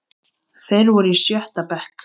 Þeir voru í sjötta bekk.